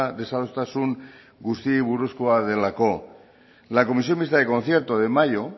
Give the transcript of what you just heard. desadostasun guztiei buruzkoa delako la comisión mixta de concierto de mayo